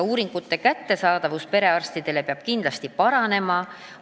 Perearstile peavad uuringud olema kindlasti kättesaadavamad.